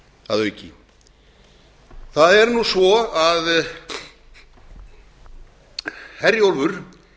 að auki það er nú svo að herjólfur